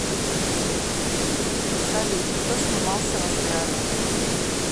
салют кто снимался в астрале